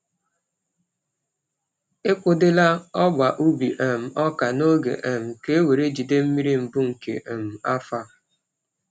E kwadola ọgba ubi um ọka n’oge um ka e were jide mmiri mbụ nke um afọ a.